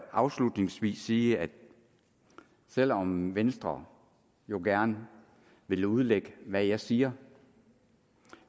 afslutningsvis sige at selv om venstre jo gerne vil udlægge hvad jeg siger